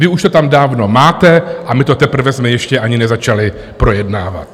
Vy už to tam dávno máte a my to teprve jsme ještě ani nezačali projednávat.